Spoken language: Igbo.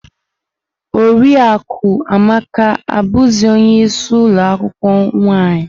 Oriakụ Amaka abuzi ọnye isii ulo akwukwuo nwaanyị.